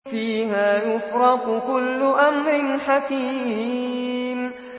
فِيهَا يُفْرَقُ كُلُّ أَمْرٍ حَكِيمٍ